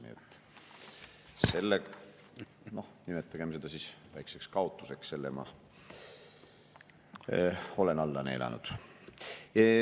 Nii et selle, nimetagem seda väikeseks kaotuseks, ma olen alla neelanud.